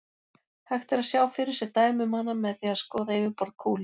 Hægt er að sjá fyrir sér dæmi um hana með því að skoða yfirborð kúlu.